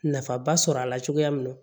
Nafaba sɔrɔ a la cogoya min na